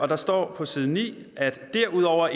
der står på side 9 derudover